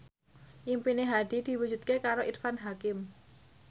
impine Hadi diwujudke karo Irfan Hakim